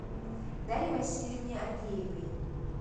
дарье васильевне агеевой